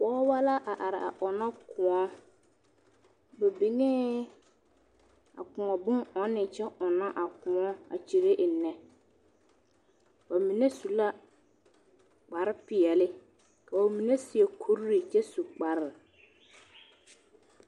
pɔgeba la a are a ɔnnɔ kóɔ na niŋee a kóɔ bon ɔnne kyɛ ɔnnɔ a kóɔ a kyire ennɛ ba mine su kpar peɛle ka ba mine seɛ kuri kyɛ su kpar